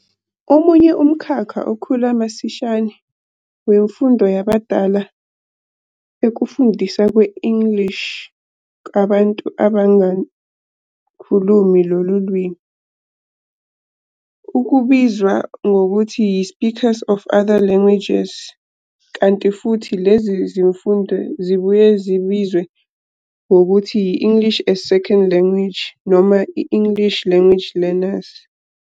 Omunye umkhakha okhula masishane wemfundo yabadala ukufundiswa kwe-English kubantu abangakhulumi lolu limi, okubizwa ngokuthi yi-Speakers of Other Languages, kanti futhi lezi zifundo zibuye zibizwe nangokuthi yi-English as a Second Language noma i-English Language Learners.